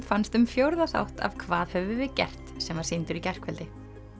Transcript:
fannst um fjórða þátt af hvað höfum við gert sem var sýndur í gærkvöldi